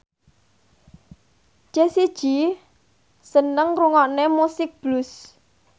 Jessie J seneng ngrungokne musik blues